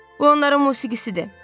O onların musiqisidir.